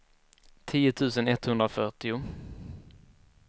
tio tusen etthundrafyrtio